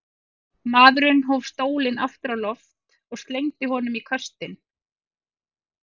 Maðurinn hóf stólinn aftur á loft og slengdi honum í köstinn.